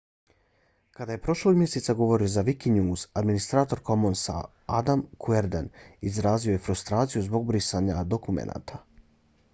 kada je prošlog mjeseca govorio za wikinews administrator commonsa adam cuerden izrazio je frustraciju zbog brisanja dokumenata